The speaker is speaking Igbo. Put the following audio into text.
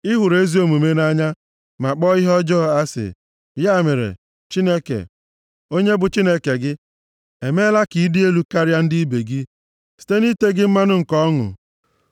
Ị hụrụ ezi omume nʼanya, ma kpọọ ihe ọjọọ asị; ya mere, Chineke, onye bụ Chineke gị, emeela ka ịdị elu karịa ndị ibe gị, site na ite gị mmanụ nke ọṅụ.